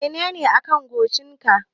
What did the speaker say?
Menene a kan goshin ka?